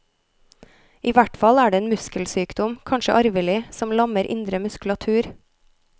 I hvert fall er det en muskelsykdom, kanskje arvelig, som lammer indre muskulatur.